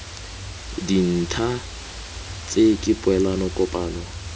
dintha tse ke poelano kopano